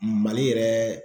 Mali yɛrɛ